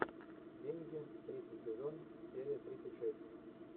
деньги третий сезон серия тридцать шесть